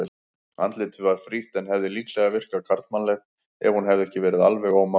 Andlitið var frítt en hefði líklega virkað karlmannlegt ef hún hefði verið alveg ómáluð.